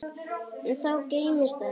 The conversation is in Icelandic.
Enn þá geymist það mér.